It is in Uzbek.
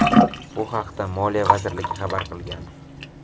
Bu haqda Moliya vazirligi xabar qilgan .